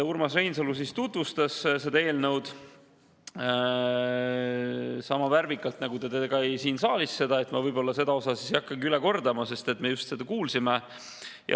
Urmas Reinsalu tutvustas seda eelnõu sama värvikalt, nagu ta tegi seda siin saalis, nii et ma seda osa ei hakka üle kordama, me seda juba kuulsime.